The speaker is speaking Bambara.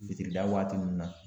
Fitirida waati ninnu na